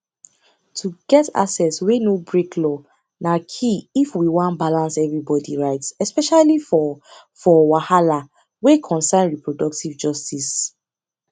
to get access wey no break law na key if we wan balance everybody rights especially for for wahala wey concern reproductive justice